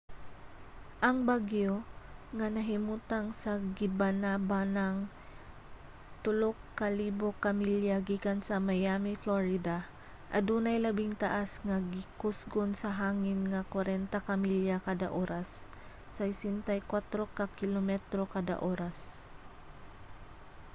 ang bagyo nga nahimutang sa gibanabanang 3,000 ka milya gikan sa miami florida adunay labing taas nga gikusgon sa hangin nga 40 ka milya kada oras 64 ka kilometro kada oras